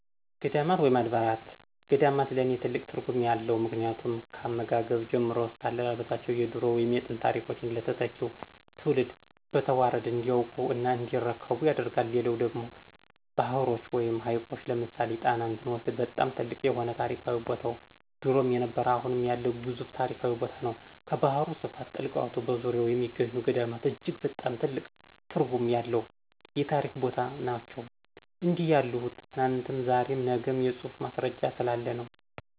ገዳማት ወይም አድባራት ገዳማት ለኔ ትልቅ ትርጉም አለው ምክንያቱም ካመጋገብ ጀምሮ እስከ አለባበሳቸው የድሮ ወይም የጥንት ታሪኮችን ለተተኪው ትውልድ በተዋረድ እንዲያውቁ እና እንዲረከቡ ያደርጋል። ሌላው ደግሞ ባህሮች ወይም ሀይቆች ለምሳሌ ጣናን ብንመለክት በጣም ትልቅ የሆነ ታሪካዊ ቦታነው ድሮም የነበረ አሁም ያለ ግዙፍ ታሪካዊ ቦታነው። ከባህሩ ስፋት ጥልቀቱ በዙርያው የሚገኙ ገዳማት እጅግ በጣም ትልቅ ትርጉም ያለው የታሪክ ቦታ ነናቸው። እንዲህ ያልሁት ትናንትም ዛሬም ነግም የፁሁፍ ማስረጃ ስላለ ነው።